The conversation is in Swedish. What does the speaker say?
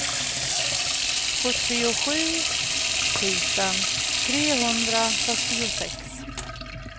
sjuttiosju tusen trehundrafyrtiosex